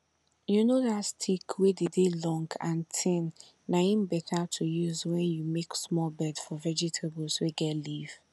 you know that stick wey dey dey long and tin na em better to use when you make small bed for vegetables wey get leaf